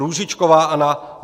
Růžičková Anna